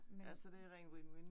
Ja, så det ren win win